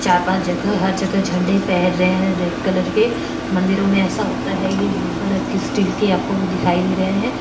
चार पाच जगह हर जगह झेंडे फेर रये है रेड कलर के मंदिरोमे येसा होता है ये ब्ल्यु कलर की स्टील की आपको वो दीखाई दे रहे है।